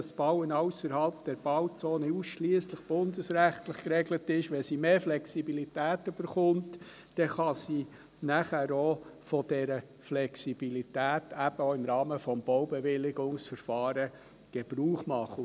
Wenn sie aber vom Bundesrecht mehr Flexibilität erhält, kann sie von dieser Flexibilität eben auch im Rahmen des Baubewilligungsverfahrens Gebrauch machen.